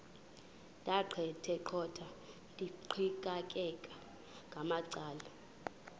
ndaqetheqotha ndiqikaqikeka ngamacala